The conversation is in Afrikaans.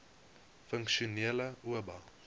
funksionele oba